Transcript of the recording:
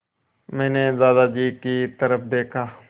मैंने दादाजी की तरफ़ देखा